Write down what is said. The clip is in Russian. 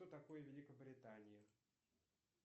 кто такой великобритания